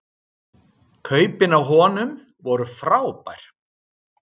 Kaupin á honum voru frábær